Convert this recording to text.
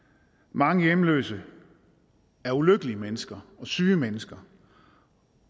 mange hjemløse er ulykkelige mennesker syge mennesker